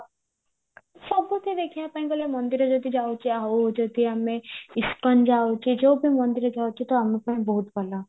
ସବୁଠି ଦେଖିବା ପାଇଁ ଗଲେ ମନ୍ଦିର ଯଦି ଯାଉଚେ ଆଉ ଯଦି ଆମେ ଇସ୍କନ ଯାଉଚେ ଯଦି ଆମେ ଯୋଉବି ମନ୍ଦିର ଯାଉଚେ ତ ଆମ ପାଇଁ ବହୁତ ଭଲ